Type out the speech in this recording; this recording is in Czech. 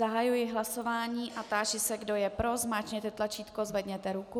Zahajuji hlasování a táži se, kdo je pro, zmáčkněte tlačítko, zvedněte ruku.